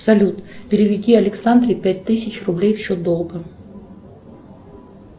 салют переведи александре пять тысяч рублей в счет долга